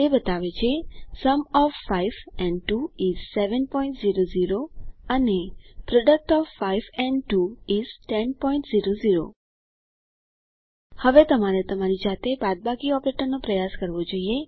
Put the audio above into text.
તે બતાવે છે સુમ ઓએફ 5 એન્ડ 2 ઇસ 700 અને પ્રોડક્ટ ઓએફ 5 એન્ડ 2 ઇસ 1000 હવે તમારે તમારી જાતે બાદબાકી ઓપરેટર નો પ્રયાસ કરવો જોઈએ